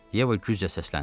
Yeva güclə səsləndi.